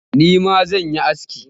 Nima zan koyi aski